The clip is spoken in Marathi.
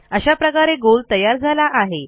अशा प्रकारे गोल तयार झाला आहे